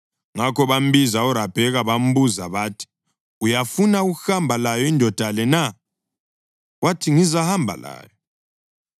Ngakho bambiza uRabheka bambuza bathi, “Uyafuna ukuhamba layo indoda le na?” Wathi, “Ngizahamba layo.”